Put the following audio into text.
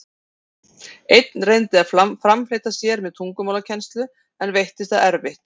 Einn reyndi að framfleyta sér með tungumálakennslu, en veittist það erfitt.